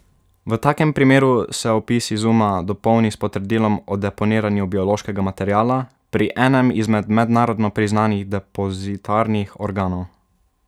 V takem primeru se opis izuma dopolni s potrdilom o deponiranju biološkega materiala pri enem izmed mednarodno priznanih depozitarnih organov.